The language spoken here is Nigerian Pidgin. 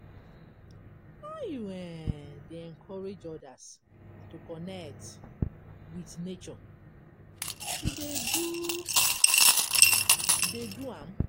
How you um dey encourage odas to connect with nature, you dey do dey do am?